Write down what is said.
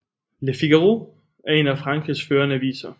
Le Figaro er en af Frankrigs førende aviser